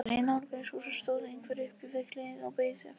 Þegar ég nálgaðist húsið stóð einhver upp við hliðið og beið eftir mér.